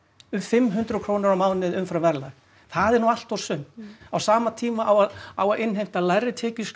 um fimm hundruð krónur á mánuði umfram verðlag það er nú allt og sumt á sama tíma á að innheimta lægri